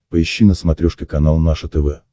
поищи на смотрешке канал наше тв